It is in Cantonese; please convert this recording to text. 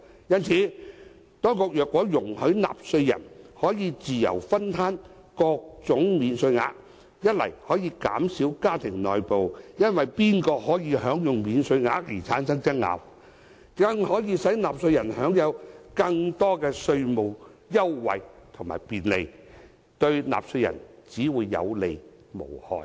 因此，當局若容許納稅人可以自由攤分各種免稅額，既可以減少家庭內部因為誰人可以享用免稅額而產生爭拗，亦可以使納稅人享有更多稅務優惠及便利，對納稅人只會有利而無害。